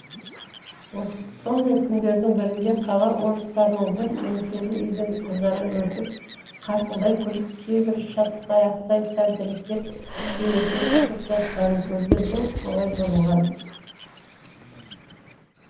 сондай күндердің бірінде қала орыстарының бір еңселі үйден қызара бөртіп қарқылдай күліп кейбірі шатқаяқтай тәлтіректеп сүйретіліп шығып жатқанын көрген бұл солай бұрылған